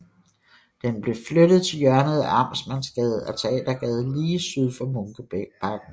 Den blev flyttet til hjørnet af Amtsmandsgade og Teatergade lige syd for Munkebakken